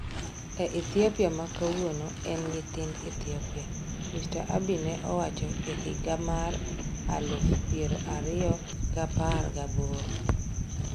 E Ethiopia ma kawuono, en nyithind Ethiopia," Mr. Abiy ne owacho e higa mar aluf piero ariyo giapar gaboro.